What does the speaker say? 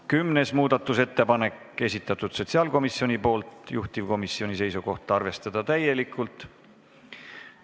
Kümnenda muudatusettepaneku on esitanud sotsiaalkomisjon, juhtivkomisjoni seisukoht on arvestada seda täielikult.